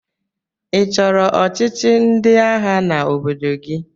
Ị chọrọ ọchịchị ndị agha n'obodo gị?